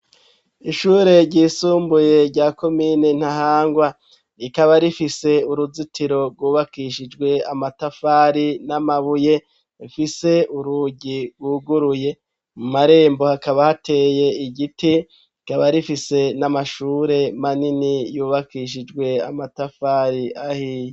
Ishure ryisumbuye rya komine Ntahangwa rikaba rifise uruzitiro rwubakishijwe amatafari n'amabuye rifise urugi rwuguruye mu marembo hakaba hateye igiti rikaba rifise n'amashure manini yubakishijwe amatafari ahiye